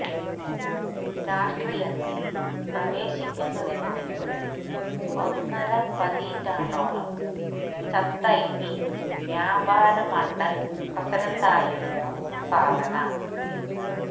രാഷ്ട്രീയത്തില് പ്രവേശിക്കുന്നതിനു മുമ്പ് ഒന്നര പതിറ്റാണ്ടോളം ചന്ദൌലി വ്യാപാര് മണ്ടല് പ്രസിഡന്റായിരുന്നു സാധന